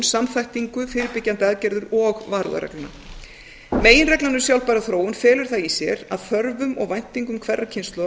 samþættingu fyrirbyggjandi aðgerðir og varúðarregluna meginreglan um sjálfbæra þróun felur það í sér að þörfum og væntingum hverrar kynslóðar